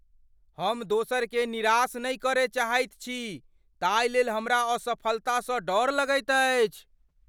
हम दोसरकेँ निराश नहि करय चाहैत छी ताहिलेल हमरा असफलतासँ डर लगैत अछि।